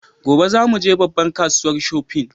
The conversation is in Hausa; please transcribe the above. Gobe za mu je babbar kasuwa shofin